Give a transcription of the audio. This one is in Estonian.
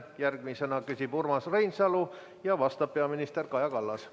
Järgmisena küsib Urmas Reinsalu ja vastab peaminister Kaja Kallas.